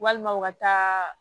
Walima u ka taa